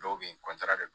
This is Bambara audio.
Dɔw be yen